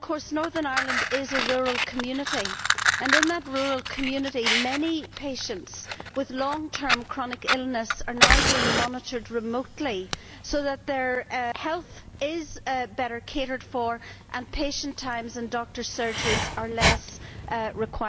Northern Ireland is a rural community, and in that rural community many patients with long term chronic illnesses are now being monitored remotely so that their health is better catered for, and patient times and doctors' surgeries are less necessary.